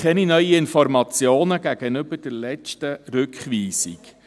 Gegenüber der letzten Rückweisung haben wir keine neuen Informationen.